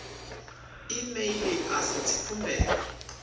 e mail a si dzikhumbelo